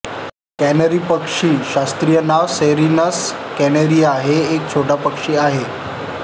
canary पक्षी शास्त्रीय नावसेरिनस कॅनॅरिया हे एक छोटा पक्षी आहे